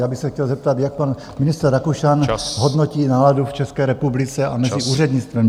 Já bych se chtěl zeptat, jak pan ministr Rakušan hodnotí náladu v České republice a mezi úřednictvem .